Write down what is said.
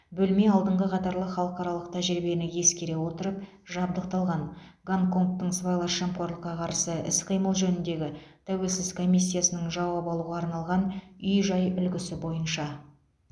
бөлме алдыңғы қатарлы халықаралық тәжірибені ескере отырып жабдықталған гонконгтың сыбайлас жемқорлыққа қарсы іс қимыл жөніндегі тәуелсіз комиссиясының жауап алуға арналған үй жай үлгісі бойынша